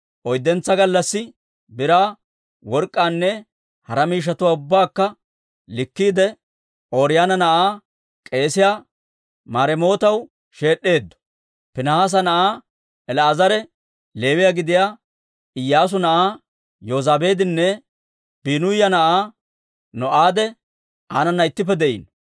Oyddentsa gallassi biraa, work'k'aanne hara miishshatuwaa ubbaakka likkiide, Ooriyoona na'aa k'eesiyaa Maremootaw sheed'd'eeddo. Piinihaasa na'aa El"aazare, Leewiyaa gidiyaa Iyyaasu na'aa Yozabaadinne Biinuya na'aa No'aade aanana ittippe de'iino.